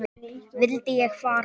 Vildi ég fara?